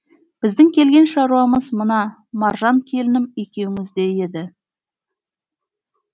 біздің келген шаруамыз мына маржан келінім екеуіңізде еді